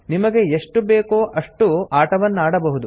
ನಿಮಗೆ ಎಷ್ಟು ಬೇಕೋ ಅಷ್ಟು ಆಟವನ್ನಾಡಬಹುದು